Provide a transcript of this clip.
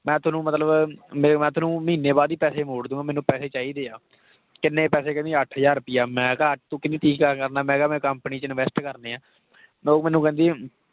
ਮੈਂ ਤੁਹਾਨੂੰ ਮਤਲਬ ਵੀ ਮੈਂ ਤੁਹਾਨੂੰ ਮਹੀਨੇ ਬਾਅਦ ਹੀ ਪੈਸੇ ਮੋੜ ਦਊਂਗਾ ਮੈਨੂੰ ਪੈਸੇ ਚਾਹੀਦੇ ਆ, ਕਿੰਨੇ ਪੈਸੇ ਕਹਿੰਦੀ ਅੱਠ ਹਜ਼ਾਰ ਰੁਪਇਆ ਮੈਂ ਕਿਹਾ, ਤੂੰ ਕਹਿੰਦੀ ਕੀ ਕਰਨਾ ਮੈਂ ਕਿਹਾ ਮੈਂ company 'ਚ invest ਕਰਨੇ ਆਂ ਉਹ ਮੈਨੂੰ ਕਹਿੰਦੀ